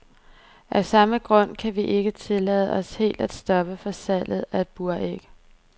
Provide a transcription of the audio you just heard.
Af samme grund kan vi ikke tillade os helt at stoppe for salget af buræg.